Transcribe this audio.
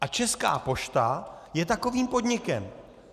A Česká pošta je takovým podnikem.